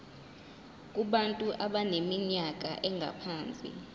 kubantu abaneminyaka engaphansi